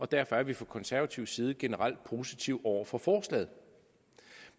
derfor er vi fra konservativ side generelt positive over for forslaget